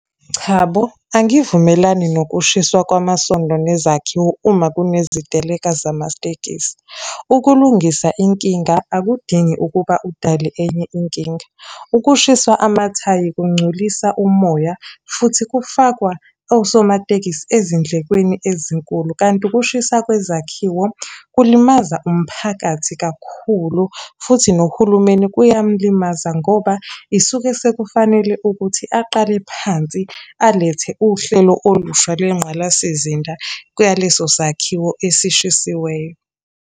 Chabo, angivumelani nokushiswa kwamasondo nezakhiwo uma kuneziteleka zamatekisi. Ukulungisa inkinga akudingi ukuba udale enye inkinga. Ukushiswa amathayi kungcolisa umoya, futhi kufakwa osomatekisi ezindlekweni ezinkulu, kanti ukushisa kwezakhiwo kulimaza umphakathi kakhulu. Futhi nohulumeni kuyamulimaza, ngoba isuke sekufanele ukuthi aqale phansi alethe uhlelo olusha lwengqalasizinda kwaleso sakhiwo esishayisiweyo.